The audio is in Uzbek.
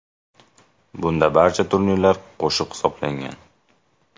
Bunda barcha turnirlar qo‘shib hisoblangan.